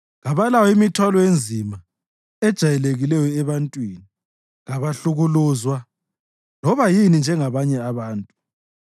Kabalayo imithwalo enzima ejayelekileyo ebantwini; kabahlukuluzwa loba yini njengabanye abantu.